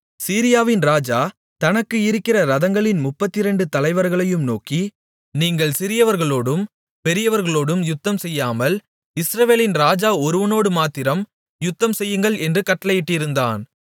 சீரியாவின் ராஜா தனக்கு இருக்கிற இரதங்களின் முப்பத்திரண்டு தலைவர்களையும் நோக்கி நீங்கள் சிறியவர்களோடும் பெரியவர்களோடும் யுத்தம்செய்யாமல் இஸ்ரவேலின் ராஜா ஒருவனோடுமாத்திரம் யுத்தம் செய்யுங்கள் என்று கட்டளையிட்டிருந்தான்